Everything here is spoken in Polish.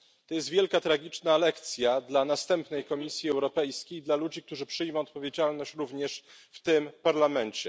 To jest wielka tragiczna lekcja dla następnej Komisji Europejskiej i dla ludzi, którzy przyjmą odpowiedzialność również w tym parlamencie.